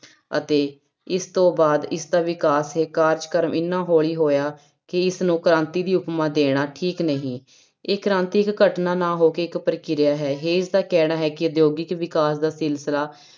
ਅਤੇ ਇਸ ਤੋਂ ਬਾਅਦ ਇਸਦਾ ਵਿਕਾਸ ਇਹ ਕਾਰਜਕ੍ਰਮ ਇੰਨਾ ਹੌਲੀ ਹੋਇਆ ਕਿ ਇਸ ਨੂੰ ਕ੍ਰਾਂਤੀ ਦੀ ਉਪਮਾ ਦੇਣਾ ਠੀਕ ਨਹੀਂ, ਇਹ ਕ੍ਰਾਂਤਿਕ ਘਟਨਾ ਨਾ ਹੋ ਕੇ ਇੱਕ ਪ੍ਰਕਿਰਿਆ ਹੈ ਦਾ ਕਹਿਣਾ ਹੈ ਕਿ ਉਦਯੋਗਿਕ ਵਿਕਾਸ ਦਾ ਸਿਲਸਿਲਾ